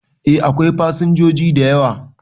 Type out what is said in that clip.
E, akwai fasinjoji da yawa.